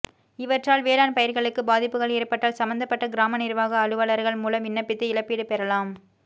இவற்றால் வேளாண் பயிா்களுக்கு பாதிப்புகள் ஏற்பட்டால் சம்பந்தப்பட்ட கிராம நிா்வாக அலுவலா்கள் மூலம் விண்ணப்பித்து இழப்பீடு பெறலாம்